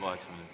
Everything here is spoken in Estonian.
Kaheksa minutit.